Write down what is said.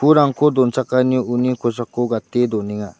donchakanio uni kosako gate donenga.